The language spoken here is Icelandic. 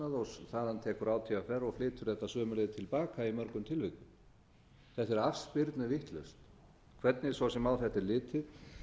og þaðan tekur átvr og flytur þetta sömu leið til baka í mörgum tilvikum þetta er afspyrnuvitlaust hvernig svo sem á þetta er litið